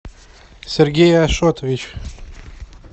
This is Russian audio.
сергей ашотович